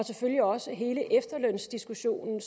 selvfølgelig også hele efterlønsdiskussionen